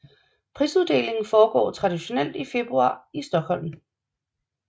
Prisuddelingen foregår traditionelt i februar i Stockholm